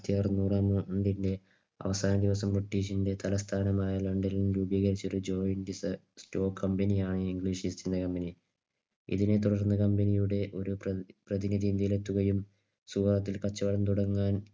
അവസാന ദിവസം ബ്രിട്ടീഷിന്റെ തലസ്ഥാനമായ ലണ്ടനിൽ രൂപീകരിച്ച ഒരു Joint sto Company യായി English East India Company. ഇതിനെത്തുടർന്ന് Company യുടെ പ്രതിനിധി നിരത്തുകയും സുവർത്തത്തിൽ കച്ചവടം തുടങ്ങാൻ